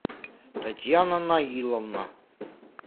татьяна наиловна